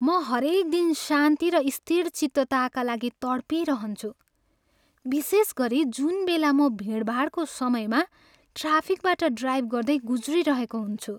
म हरेक दिन शान्ति र स्थिरचित्तताका लागि तड्पिरहन्छु विशेषगरी जुनबेला म भिडभाडको समयमा ट्राफिकबाट ड्राइभ गर्दै गुज्रिरहेको हुन्छु।